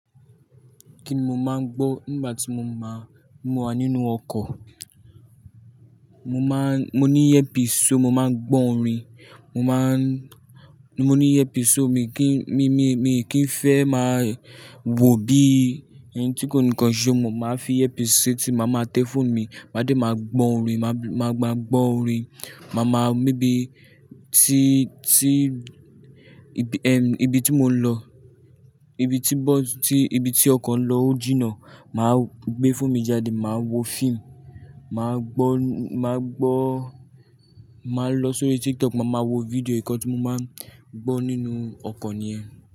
Kíni mo máa ń gbọ́ nígbà tí mo máa ń múra nínú ọkọ̀, mo máa ń, mo ní headphones, mo máa ń gbọ́ orin, mo máa ń, mo ní headphones mi kí n, mi, mi, mi kì í fẹ́ máa wò bí ẹnì tí kò ní nǹkan ṣe, mo máa fi headphones ṣe tí mo máa tẹ́ fóònù mi, mádìí máa gbọ́ orin, máa gba, gbọ́ orin. Máa ma mabíi tí, tí, ibi, ehm, ibi tí mò ń lọ, ibi tí bọ́ọ̀sì, ibi tí ọkọ̀ ń lọ ó jìnnà, màá gbé fóònù mi jáde, màá wo fíìmù, màá gbọ́, màá gbọ́, màá lọ sórí TikTok máa ma wo fídíò nǹkan tí mo máa ń gbọ́ nínú ọkọ̀ nìyẹn.